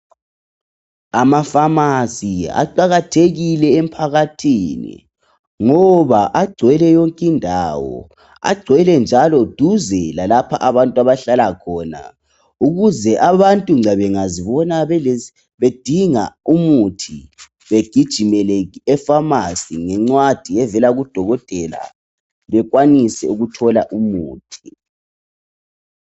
Amakhemisi aqakathekile emphakathini ngoba agcwele yonkindawo. Agcwele njalo duze lalapho abantu abahlala khona ukuze abantu nxa bengazibona bedinga umuthi begijimele ekhemisi ngencwadi evela kudokotela bekwanise ukuthola umuthi.